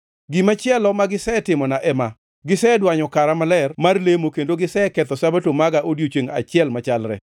Gimachielo magisetimona ema: Gisedwanyo kara maler mar lemo kendo giseketho Sabato maga e odiechiengʼ achiel machalre.